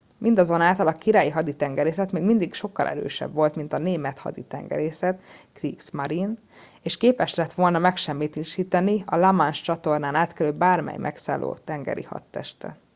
mindazonáltal a királyi haditengerészet még mindig sokkal erősebb volt mint a német haditengerészet kriegsmarine” és képes lett volna megsemmisíteni a la manche-csatornán átkelő bármely megszálló tengeri hadtestet